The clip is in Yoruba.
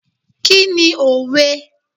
Kí ni òwe?